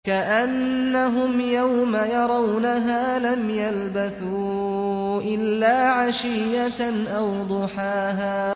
كَأَنَّهُمْ يَوْمَ يَرَوْنَهَا لَمْ يَلْبَثُوا إِلَّا عَشِيَّةً أَوْ ضُحَاهَا